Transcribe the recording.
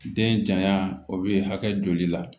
Den janya o bɛ hakɛ joli la